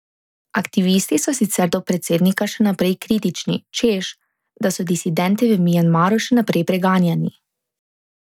Aktivisti so sicer do predsednika še naprej kritični, češ da so disidenti v Mjanmaru še naprej preganjani.